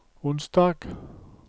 onsdag